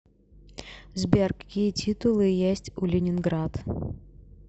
сбер какие титулы есть у ленинград